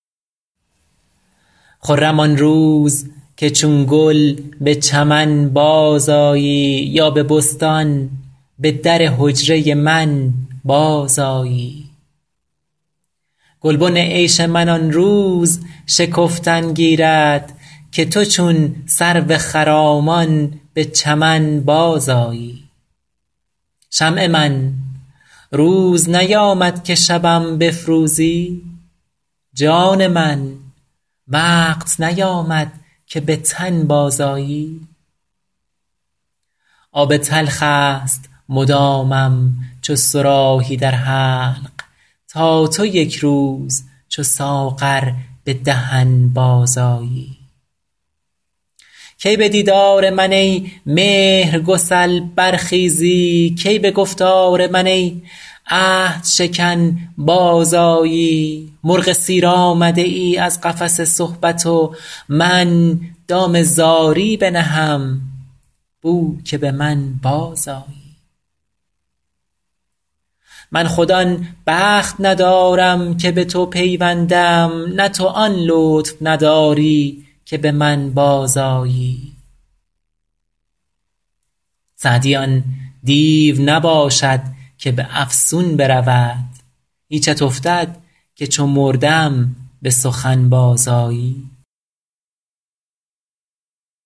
خرم آن روز که چون گل به چمن بازآیی یا به بستان به در حجره من بازآیی گلبن عیش من آن روز شکفتن گیرد که تو چون سرو خرامان به چمن بازآیی شمع من روز نیامد که شبم بفروزی جان من وقت نیامد که به تن بازآیی آب تلخ است مدامم چو صراحی در حلق تا تو یک روز چو ساغر به دهن بازآیی کی به دیدار من ای مهرگسل برخیزی کی به گفتار من ای عهدشکن بازآیی مرغ سیر آمده ای از قفس صحبت و من دام زاری بنهم بو که به من بازآیی من خود آن بخت ندارم که به تو پیوندم نه تو آن لطف نداری که به من بازآیی سعدی آن دیو نباشد که به افسون برود هیچت افتد که چو مردم به سخن بازآیی